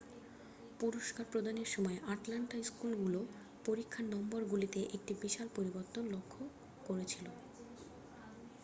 পুরস্কার প্রদানের সময় আটলান্টা স্কুলগুলো পরিক্ষার নম্বর গুলিতে একটি বিশাল পরিবর্তন লক্ষ্য করেছিলো